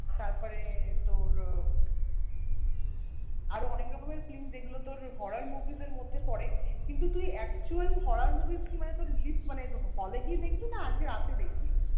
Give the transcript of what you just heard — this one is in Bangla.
তারপরে তোর আরও অনেক রকমের film যেগুলো তোর horror movies এর মধ্যে পরে কিন্তু তুই actual horror movies মানে কি তোর release মানে hall এ গিয়ে দেখবি নাকি আজকে রাতে দেখবি